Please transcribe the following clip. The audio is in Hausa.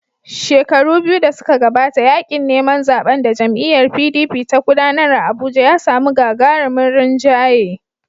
Shekaru biyu da suka gabata, yaƙin neman zaɓen da jam'iyyar PDP ta gudanar a Abuja ya samu gagarumin rinjaye.